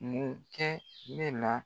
Mun kɛ ne la